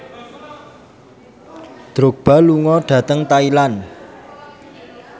Drogba lunga dhateng Thailand